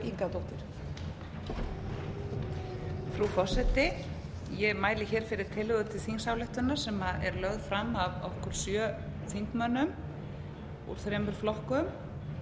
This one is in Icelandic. frú forseti ég mæli hér fyrir tillögu til þingsályktunar sem er lögð fram af okkur sjö þingmönnum úr þremur flokkum